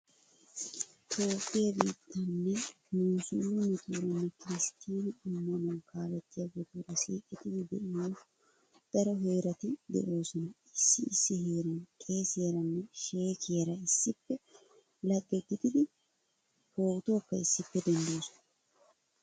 Toophphiyaa biitten musiliimetuuranne kiristtina ammanuwaa kaalliyageetuura siiqettidi de'iyo daro heerati de"oosona. Issi issi heeran qeesiyaaranne sheekkiyaara issippe lagge gididi pootuwaakka issippe denddoosona.